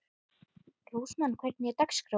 Rósmann, hvernig er dagskráin?